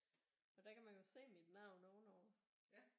For der kan man jo se mit navn ovenover